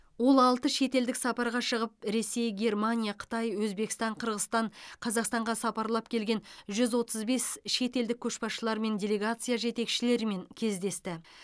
ол алты шетелдік сапарға шығып ресей германия қытай өзбекстан қырғызстан қазақстанға сапарлап келген жүз отыз бес шетелдік көшбасшылар мен делегация жетекшілерімен кездесті